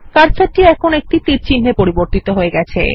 কার্সারটির এখন তীরচিহ্ন এ পরিবর্তিত হয়ে গেছে